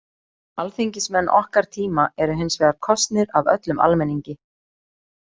Alþingismenn okkar tíma eru hins vegar kosnir af öllum almenningi.